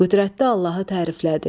Qüdrətli Allahı təriflədi.